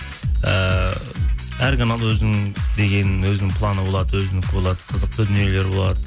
ііі әр канал өзінің дегенін өзінің планы болады өзінікі болады қызықты дүниелер болады